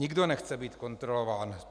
Nikdo nechce být kontrolován.